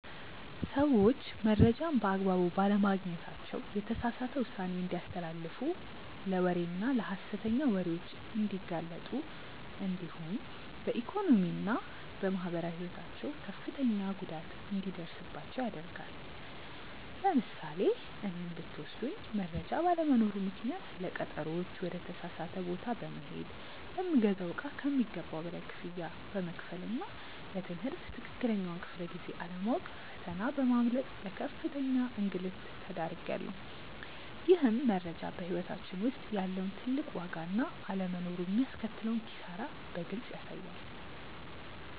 ሰዎች መረጃን በአግባቡ ባለማግኘታቸው የተሳሳተ ውሳኔ እንዲያስተላልፉ ለወሬና ለሐሰተኛ ወሬዎች እንዲጋለጡ እንዲሁም በኢኮኖሚና በማህበራዊ ሕይወታቸው ከፍተኛ ጉዳት እንዲደርስባቸው ያደርጋል። ለምሳሌ እኔን ብትወስዱኝ መረጃ ባለመኖሩ ምክንያት ለቀጠሮዎች ወደ ተሳሳተ ቦታ በመሄድ፣ ለምገዛው እቃ ከሚገባው በላይ ክፍያ በመክፈልና ለ ትምህርት ትክክለኛውን ክፍለ-ጊዜ አለማወቅ ፈተና በማምለጥ ለከፍተኛ እንግልት ተዳርጌያለሁ። ይህም መረጃ በሕይወታችን ውስጥ ያለውን ትልቅ ዋጋና አለመኖሩ የሚያስከትለውን ኪሳራ በግልጽ ያሳያል።